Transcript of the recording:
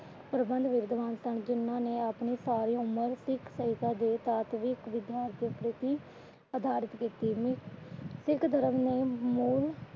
ਜਿਨ੍ਹਾਂ ਨੇ ਆਪਣੀ ਸਾਰੀ ਉਮਰ ਸਿੱਖ ਸਿੱਖ ਧਰਮ ਨੇ ਮੂਲ